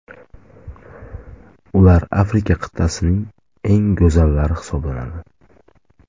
Ular Afrika qit’asining eng go‘zallari hisoblanadi.